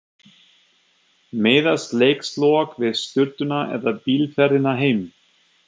Miðast leikslok við sturtuna eða bílferðina heim?